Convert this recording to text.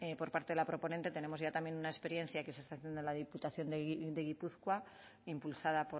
por parte de la proponente tenemos ya también una experiencia que se está haciendo en la diputación de gipuzkoa impulsada